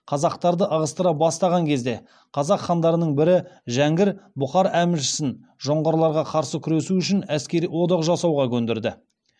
қазақтарды ығыстыра бастапан кезде қазақ хандарының бірі жәңгір бұқар әміршісін жоңғарларға қарсы күресу үшін әскери одақ жасауға көндірді